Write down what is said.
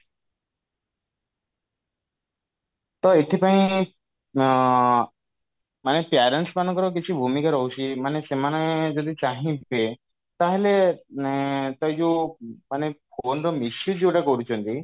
ତ ଏଥିପାଇଁ ଅ ମାନେ parents ମାନଙ୍କର କିଛି ଭୂମିକା ରହୁଛି ମାନେ ସେମାନେ ଯଦି ଚାହିଁବେ ତାହେଲେ ଉଁ ସେଇ ଯଉ ମାନେ phone ର misuse ଯଉଟା କରୁଛନ୍ତି